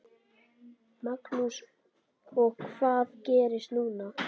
Magnús: Og hvað gerist núna?